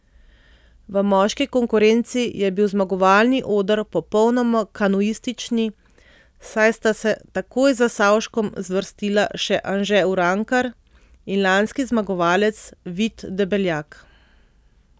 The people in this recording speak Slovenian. V moški konkurenci je bil zmagovalni oder popolnoma kanuistični, saj sta se takoj za Savškom zvrstila še Anže Urankar in lanski zmagovalec Vid Debeljak.